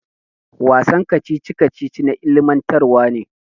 Wasan kacici kacici na ilimintarwa.